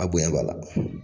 A boyan b'a la.